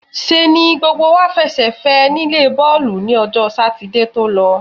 ṣe ni gbogbo wá fẹsẹ̀ fẹ́ ẹ nílé bọ́ọ̀lù ni ọjọ́ Sátidé tó lọ.